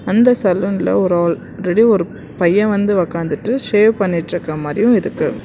அந்த சலூன்ல ஒரு ஆல்ரெடி ஒரு பையன் வந்து உக்காந்துட்டு சேவ் பண்ணிட்ருக்குற மாரியு இருக்கு.